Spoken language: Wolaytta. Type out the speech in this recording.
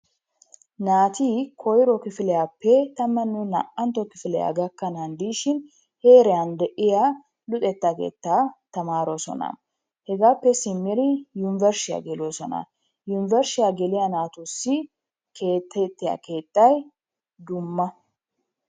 Naati koyro kifiliyappe tammanne naa''ntto kifiliyaa gakkanan dishin heeran de'iya luxetta keettan tamaroosona. hegappe simmidi yunbbershshiya geloosona. yunbbershshiyaa geliyaa naatussi keexxiya keettay dumma.